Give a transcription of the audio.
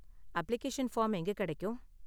Application form எங்க கெடைக்கும்?